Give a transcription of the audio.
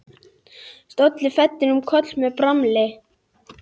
Hann lætur vatn buna í ketil fyrir sjálfan sig.